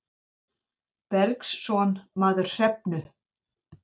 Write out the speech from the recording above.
Bergsson maður Hrefnu.